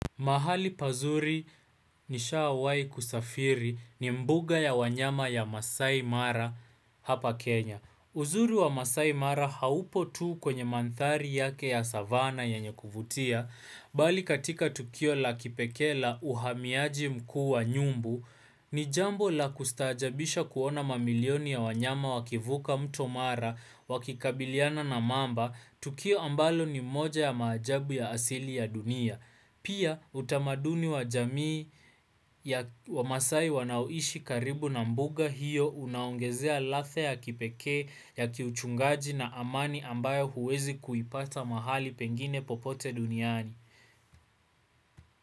Mahali pazuri nishawahi kusafiri ni mbuga ya wanyama ya Maasai Mara hapa Kenya. Uzuri wa Maasai Mara haupo tu kwenye manthari yake ya savanna yenye kuvutia, bali katika tukio la kipekee la uhamiaji mkuu wa nyumbu, ni jambo la kustajabisha kuona mamilioni ya wanyama wakivuka mto Mara wakikabiliana na mamba, Tukio ambalo ni moja ya maajabu ya asili ya dunia. Pia utamaduni wa jamii ya wamaasai wanaoishi karibu na mbuga hiyo unaongezea ladha ya kipekee ya kiuchungaji na amani ambayo huwezi kuipata mahali pengine popote duniani.